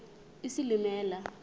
isilimela